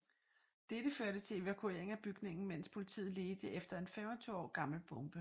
Dette førte til evakuering af bygningen mens politiet ledte efter en 25 år gammel bombe